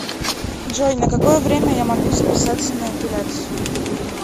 джой на какое время я могу записаться на эпиляцию